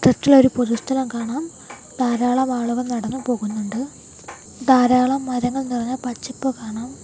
Left ഇലായി ഒരു പൊതു സ്ഥലം കാണാം ധാരാളം ആളുകൾ നടന്നു പോകുന്നുണ്ട് ധാരാളം മരങ്ങൾ നിറഞ്ഞ പച്ചപ്പ് കാണാം.